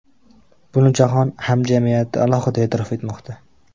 Buni jahon hamjamiyati alohida e’tirof etmoqda.